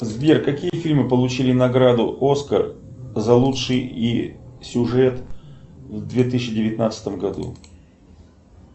сбер какие фильмы получили награду оскар за лучший сюжет в две тысячи девятнадцатом году